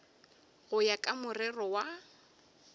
go ya ka morero wa